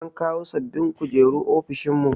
An kawo sababbin kujeru ofishin mu.